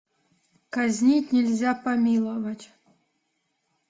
казнить нельзя помиловать